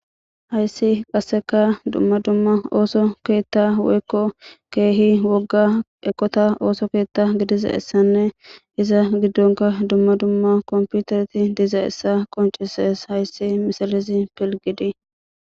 Hayssi qasseka dumma dumma ooso keetta woykko keehi wogga eqota ooso keetta gidiza essanne iza giddonka dumma dumma komputarti diza essa qoncises hayssi misalizi pilgidi.